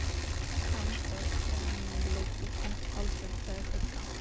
Samstarfskona mín liggur þungt haldin, sagði Sigga.